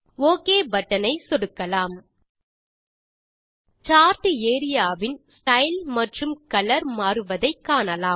okay button ஐ சொடுக்கலாம் chart area வின் ஸ்டைல் மற்றும் கலர் மாறுவதை காணலாம்